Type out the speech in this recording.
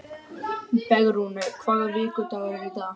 Bergrún, hvaða vikudagur er í dag?